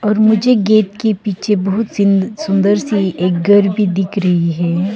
और मुझे गेट के पीछे बहुत सी सुंदर सी एक घर भी दिख रही है।